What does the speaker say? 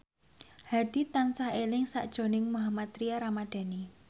Hadi tansah eling sakjroning Mohammad Tria Ramadhani